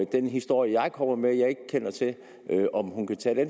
den historie jeg kommer med om at jeg ikke kender til det